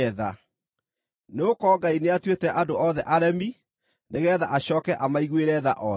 Nĩgũkorwo Ngai nĩatuĩte andũ othe aremi nĩgeetha acooke amaiguĩre tha othe.